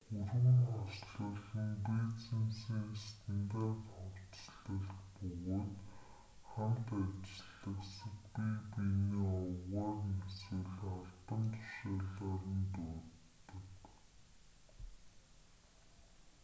хүрэм хослол нь бизнесийн стандарт хувцаслалт бөгөөд хамт ажиллагсад бие биенээ овгоор нь эсвэл албан тушаалаар нь дууддаг